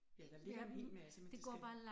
Ja der ligger en hel masse men det skal